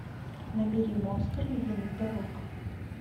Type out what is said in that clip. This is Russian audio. набери монстр ледяных дорог